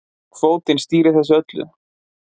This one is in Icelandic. Kvótinn stýrir þessu öllu